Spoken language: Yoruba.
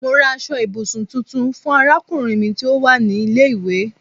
Mo rà aṣọ ibùsùn tuntun fún arákùnrin mi tí ó wà ní ilé ìwé